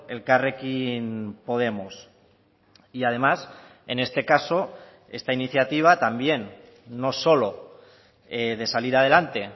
elkarrekin podemos y además en este caso esta iniciativa también no solo de salir adelante